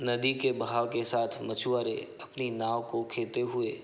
नदी के बहाव के साथ मछुआरे अपनी नाव को खेते हुए --